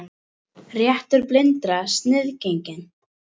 Réttur blindra sniðgenginn